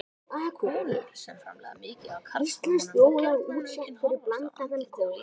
Konur sem framleiða mikið af karlhormónum fá gjarna aukinn hárvöxt í andliti og á líkama.